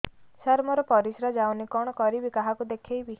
ସାର ମୋର ପରିସ୍ରା ଯାଉନି କଣ କରିବି କାହାକୁ ଦେଖେଇବି